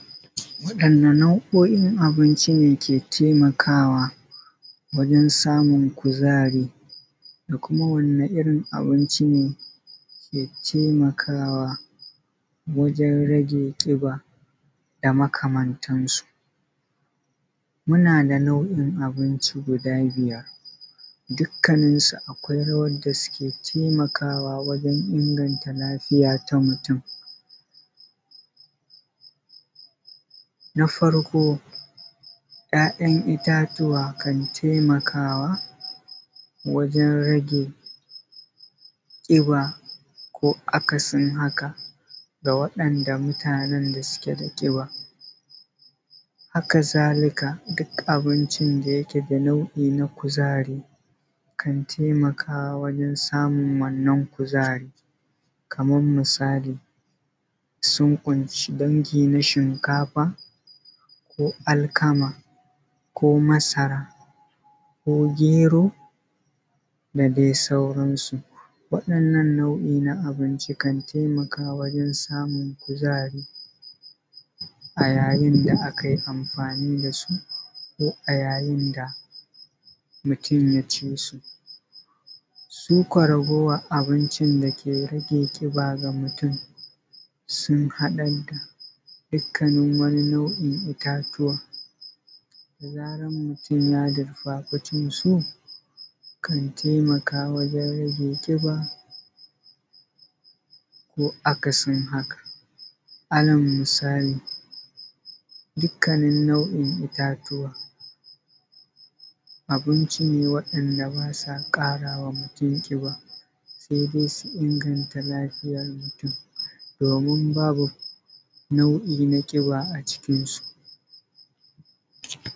Wanɗan na nau’o’in abinci ne ke taimakawa wajen samun kuzari? Kuma wani irin abinci ne ke taimakawa wajen rage kiɓa da makamantansu? Muna da nau’in abinci guda biyar dukkanin su akwai rawar da suke temakawa wajen inganta lafiya ta mutum. Na farko ‘ya’yan itatuwa kan temakawa wajen rage kiɓa ko akasin haka da waɗanda mutanen suke da kiɓa, haka zalika duk abincin da yake da nau’i na kuzari kan taimaka wajen samun wannan kuzari, kaman misali sun kunshi dangi na shinkafa ko alkama, ko masara, ko gero da dai sauran su. Wa’inna nan nau’i na abinci kan temaka wajen samun kazari a yayin da akai amfani dasu, ko a yayin da mutum ya cisu. Su kuwa ragowar abinci da yake rage kiɓa ga mutum sun haɗa da dukanin wani nau’in itatuwa, da zaran mutum ya dirfafe cin su, kan taimaka wajen rage kiɓa, ko akasin haka. Ala misali dukkanin nau’in itatuwa abinci ne wa'inda basu ƙarama mutum kiɓa sai dai su inganta lafiyar mutum, domin babu nau’i na kiɓa a cikinsu.